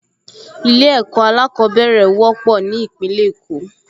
Ilé-ẹ̀kọ́ alákọ̀ọ́bẹ̀rẹ̀ wọ́pọ̀ ní Ìpínlẹ̀ Èkó